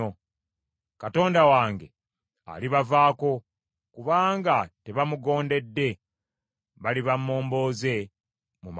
Katonda wange alibavaako kubanga tebamugondedde; baliba momboze mu mawanga.